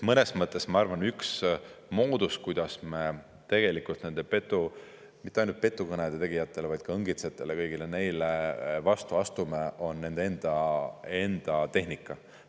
Ma arvan, üks moodus, kuidas me tegelikult nendele mitte ainult petukõnede tegijatele, vaid ka õngitsejatele, kõigile neile vastu astume, on nende enda tehnika.